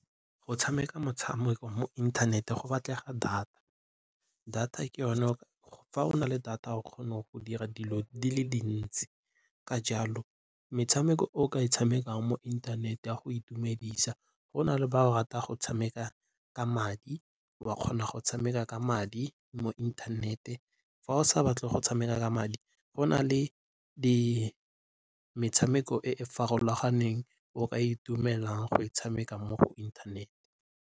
Go tshameka motshameko mo inthanete go batlega data fa o na le data o kgona go dira dilo di le dintsi. Ka jalo metshameko o ka e tshamekang mo inthanete ya go itumedisa go na le ba go rata go tshameka ka madi, wa kgona go tshameka ka madi mo inthanete. Fa o sa batle go tshameka ka madi go na le metshameko e e farologaneng eo ka itumelelang go e tshameka mo inthanete.